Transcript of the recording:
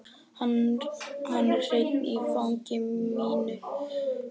Hann er hreinn í fangi mínu.